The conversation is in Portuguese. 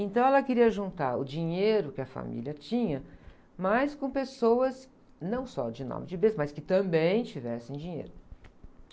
Então, ela queria juntar o dinheiro que a família tinha, mas com pessoas não só de nome de berço, mas que também tivessem dinheiro.